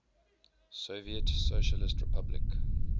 soviet socialist republic